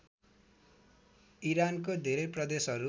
इरानको धेरै प्रदेशहरू